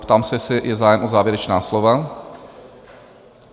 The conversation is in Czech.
Ptám se, jestli je zájem o závěrečná slova?